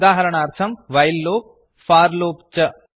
उदाहरणार्थं while loop for loop च